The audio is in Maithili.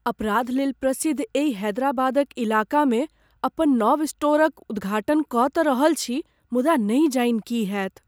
अपराधलेल प्रसिद्ध एहि हैदराबादक इलाकामे अपन नव स्टोरक उद्घाटन कऽ तँ रहल छी मुदा नहि जानि की होयत।